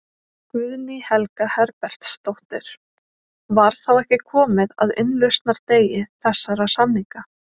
Guðný Helga Herbertsdóttir: Var þá ekki komið að innlausnardegi þessara samninga?